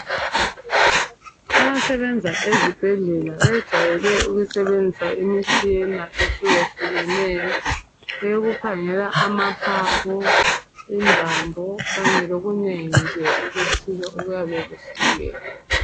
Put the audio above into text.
Abasebenza ezibhedlela bejayele ukusebenzisa imitshina ehlukehlukeneyo eyokukhangela amaphaphu ,imbambo kanye lokunengi nje okuthile okuyabe kuhlukene.